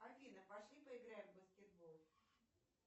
афина пошли поиграем в баскетбол